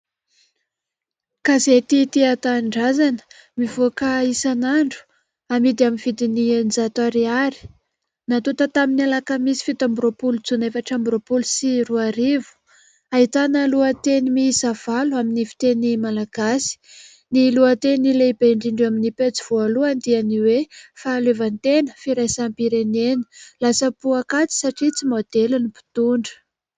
Gazety " Tia Tanindrazana" mivoaka isan'andro amidy, amin'ny vidin'ny eninjato ariary natota tamin'ny alakamisy fito amby roapolo jona efatra amby roapolo sy roa arivo, ahitana lohateny miisa valo amin'ny fiteny malagasy. Ny lohateny lehibe indrindra eo amin'ny pejy voalohany dia ny hoe " Fahaleovantena, firaisam-pirenena lasa poakaty satria tsy maodely ny mpitondra ".